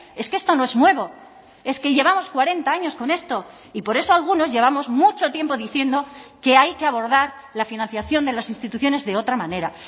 es que esto no es nuevo es que llevamos cuarenta años con esto y por eso algunos llevamos mucho tiempo diciendo que hay que abordar la financiación de las instituciones de otra manera